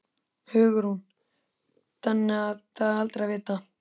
Hugrún: Þannig það er aldrei að vita?